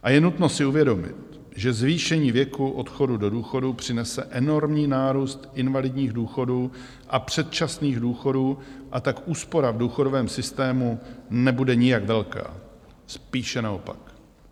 A je nutno si uvědomit, že zvýšení věku odchodu do důchodu přinese enormní nárůst invalidních důchodů a předčasných důchodů, a tak úspora v důchodovém systému nebude nijak velká, spíše naopak."